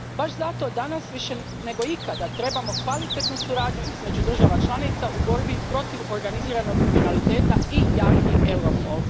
Baš zato danas više nego ikad trebamo kvalitetnu suradnju između država članica u borbi protiv organiziranog kriminaliteta i jaki Europol.